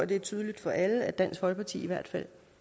det er tydeligt for alle at dansk folkeparti i hvert fald